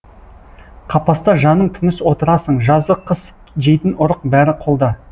қапаста жаның тыныш отырасың жазы қыс жейтін ұрық бәрі қолда